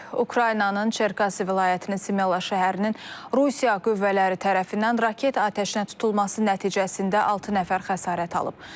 Ukraynanın Çerkasi vilayətinin Smela şəhərinin Rusiya qüvvələri tərəfindən raket atəşinə tutulması nəticəsində altı nəfər xəsarət alıb.